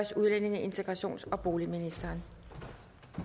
til udlændinge integrations og boligudvalget